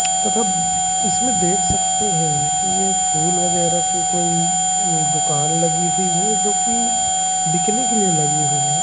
तथा इसमें देख सकते हैं कि ये फूल वगैरा की कोई दुकान लगी हुई है जोकि बिकने के लिए लगी हुई है।